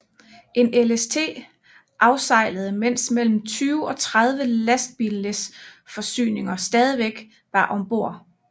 En LST afsejlede mens mellem 20 og 30 lastbillæs forsyninger stadig var om bord